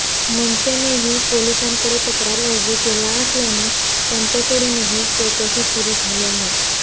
मनसेनेही पोलिसांकडे तक्रार अर्ज केला असल्याने त्यांच्याकडूनही चौकशी सुरू झाली आहे